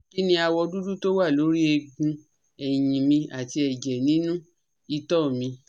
Kí ni awọ dúdú tó wà lórí ẹ̀gùn eyin mi àti ẹ̀jẹ̀ ninu ito mi?